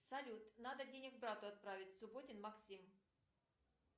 салют надо денег брату отправить субботин максим